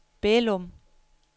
Bælum